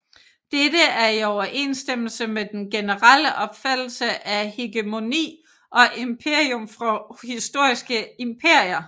Dette er i overensstemmelse med den generelle opfattelse af hegemoni og imperium for historiske imperier